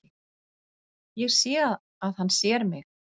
Ég sé að hann sér mig.